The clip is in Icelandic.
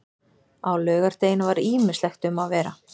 Á laugardeginum var ýmislegt um að vera.